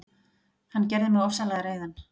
Hann gerði mig ofsalega reiðan.